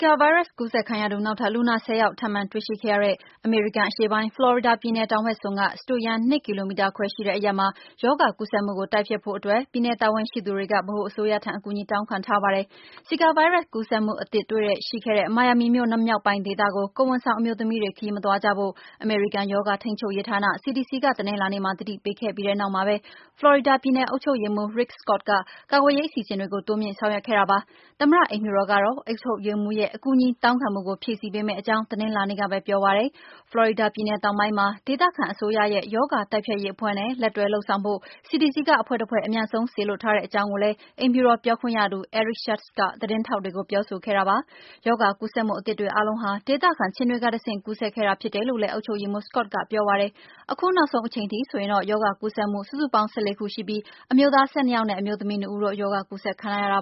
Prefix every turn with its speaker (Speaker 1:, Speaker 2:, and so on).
Speaker 1: ကာဗိုင်းရပ်စ် ကူးစက်ခံရသူ နောက်ထပ် လူနာ ၁၀ ယောက် ထပ်မံတွေ့ရှိခဲ့ရတဲ့ အမေရိကန် အရှေ့တောင်ပိုင်း ဖလော်ရီဒါပြည်နယ် တောင်ဘက်စွန်းက စတုရန်း ၂ ကီလိုမီတာခွဲရှိတဲ့ အရပ်မှာ ရောဂါကူးစက်မှုကို တိုက်ဖျက်ဖို့အတွက် ပြည်နယ် တာဝန်ရှိသူတွေက ဗဟိုအစိုးရထံ အကူညီတောင်းခံထားပါတယ်။ ဇီကာဗိုင်းရပ်စ် ကူးစက်မှုသစ်တွေ တွေ့ရှိခဲ့တဲ့ မိုင်ယာမီမြို့မြောက်ပိုင်း ဒေသကို ကိုယ်ဝန်ဆောင်အမျိုးသမီးတွေ ခရီးမသွားကြဖို့ အမေရိကန် ရောဂါထိန်းချုပ်ရေးဌာန (CDC) က တနင်္လာနေ့မှာ သတိပေးခဲ့ပြီး နောက်မှာပဲ ဖလော်ရီဒါ ပြည်နယ်အုပ်ချုပ်ရေးမှူး Rick Scott က ကာကွယ်ရေး အစီအစဉ်တွေ တိုးမြှင့်ဆောင်ရွက်ခဲ့တာပါ။ သမ္မတ အိမ်ဖြူတော်ကတော့ အုပ်ချုပ်ရေးမှူးရဲ့ အကူအညီတောင်းခံမှုကို ဖြည့်ဆည်းပေးမယ့်အကြောင်း တနင်္လာနေ့ကပဲ ပြောဆိုခဲ့ပါတယ်။ ဖလော်ရီဒါပြည်နယ် တောင်ပိုင်းမှာ ဒေသခံအစိုးရရဲ့ ရောဂါတိုက်ဖျက်ရေးအဖွဲ့နဲ့ လက်တွဲလုပ်ဆောင်ဖို့ CDC က အဖွဲ့တဖွဲ့ အမြန်ဆုံး စေလွှတ်ထားတဲ့ အကြောင်းလည်း အိမ်ဖြူတော် ပြောခွင့်ရသူ Eric Schultz က သတင်းထောက်တွေကို ပြောဆိုခဲ့တာပါ။ ရောဂါကူးစက်မှု အသစ်တွေ အားလုံးဟာ ဒေသခံ ခြင်တွေကတဆင့် ကူးစက်ခံခဲ့ရတာ ဖြစ်တယ်လို့လည်း အုပ်ချုပ်ရေးမှူး Scott ကပြောပါတယ်။ အခုနောက်ဆုံး အချိန်အထိ ဆိုရင်တော့ ရောဂါကူးစက်မှု စုစုပေါင်း ၁၄ ခု ရှိနေပြီး၊ အမျိုးသား ၁၂ ယောက်နဲ့
Speaker 2: အမျိုးသမီး ၂ ဦးတို့ ရောဂါ ကူးစက်ခံထားရတ